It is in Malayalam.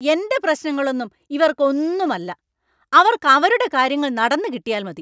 എൻ്റെ പ്രശ്നങ്ങളൊന്നും ഇവർക്ക് ഒന്നും അല്ല; അവർക്ക് അവരുടെ കാര്യങ്ങൾ നടന്ന് കിട്ടിയാൽ മതി!